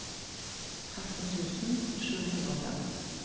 tretten tusen sju hundre og fem